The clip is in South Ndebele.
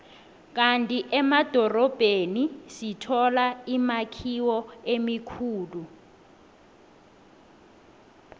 kandi emadorobheni sithola imakhiwo emikhulu